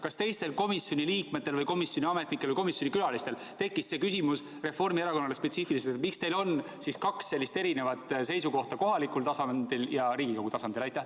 Kas teised komisjoni liikmed või komisjoni külalised esitasid Reformierakonnale küsimuse, miks teil on kaks erisugust seisukohta, üks kohalikul tasandil ja teine Riigikogu tasandil?